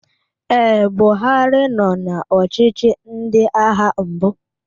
Ee, Buhari nọ na ọchịchị ndị agha mbụ.